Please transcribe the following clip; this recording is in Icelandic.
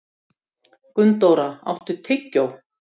Gunndóra, áttu tyggjó?